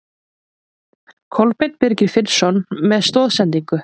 Kolbeinn Birgir Finnsson með stoðsendingu.